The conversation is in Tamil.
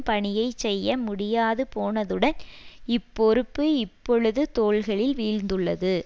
பணியை செய்ய முடியாதுபோனதுடன் இப்பொறுப்பு இப்பொழுது தோள்களில் வீழ்ந்துள்ளது